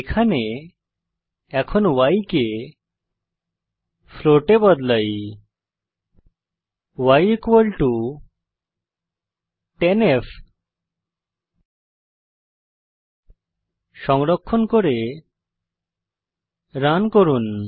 এখানে এখন y কে ফ্লোট এ বদলাই y10f সংরক্ষণ করে রান করুন